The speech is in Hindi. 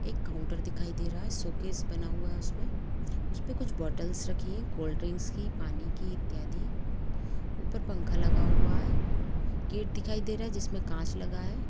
एक काउंटर दिखाई दे रहा हैंसोकेस बना हुआ हैं उसपे उसपे बोटल्स रखा हुआ हैं कोलडरिंक्स की पानी की इत्यादि ऊपर पंखा लगा हुआ हैं गेट दिखाई दे रहा हैं जिसमे कांच लगा हुआ हैं।